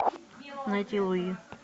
найти луи